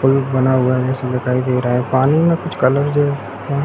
pool बना जैसा दिखाई दे रहा है पानी में कुछ कलर जो--